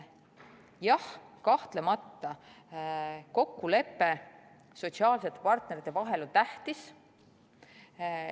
Jah, kahtlemata on kokkulepe sotsiaalsete partnerite vahel tähtis.